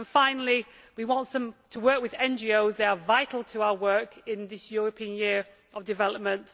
Finally, we want to work with NGOs, which are vital to our work in this European Year of Development.